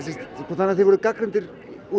þannig að þið voruð gagnrýndir úr